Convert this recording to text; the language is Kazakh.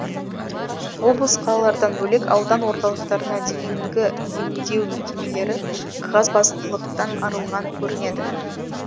облыс қалалардан бөлек аудан орталықтарына дейінгі емдеу мекемелері қағазбастылықтан арылған көрінеді